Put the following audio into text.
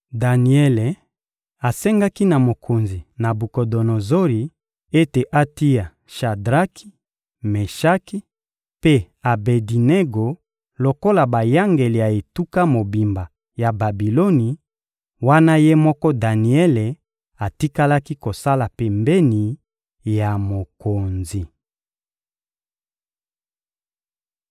Daniele asengaki na mokonzi Nabukodonozori ete atia Shadraki, Meshaki mpe Abedinego lokola bayangeli ya etuka mobimba ya Babiloni wana ye moko Daniele atikalaki kosala pembeni ya mokonzi.